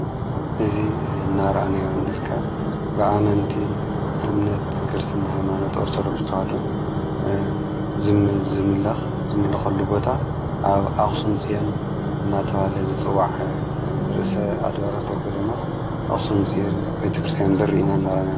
እዚ እናርኣናዮ ንርከብ ብኣመንቲ ክርስትና ሃይመኖት ኦርቶዶክስ ሃይማኖትሎኩስተሃዶ ዝምልኽሉ ቦታ ኣብ ኣኽሱም ፅዮን እናተበሃለ ዘጽዋዕ ርእሰ ኣድባረት ወጕደማት ኣኽሱም ፅዮን ቤተ ክርስቲያን ብር ኢና እናርኣነያ።